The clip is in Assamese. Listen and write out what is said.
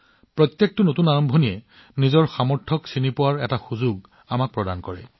প্ৰতিটো নতুন আৰম্ভণিয়ে ইয়াৰ সম্ভাৱনা চিনাক্ত কৰাৰ সুযোগো প্ৰদান কৰিছে